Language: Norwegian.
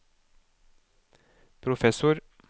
professor